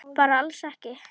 Bara alls ekki?